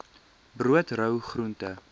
brood rou groente